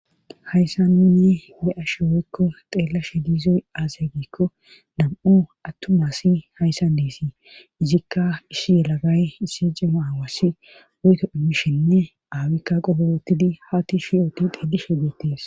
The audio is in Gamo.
hayssan nuni be'ashe woykko xeelashe diizoy aasya giikko dam7u attumasi hayssan deesii izikka issi yelagay issi cema aawasi woyto immishenne aawikka qoborotidi haati shiyooti dillishe deettees